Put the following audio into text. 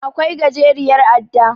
Akwai gajeriyar adda.